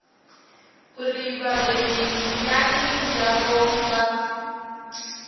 uri vhabebi miṱani yavho vha